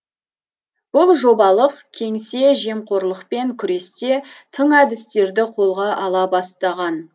бұл жобалық кеңсе жемқорлықпен күресте тың әдістерді қолға ала бастаған